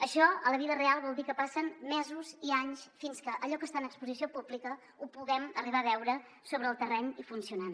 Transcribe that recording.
això a la vida real vol dir que passen mesos i anys fins que allò que està en exposició pública ho puguem arribar a veure sobre el terreny i funcionant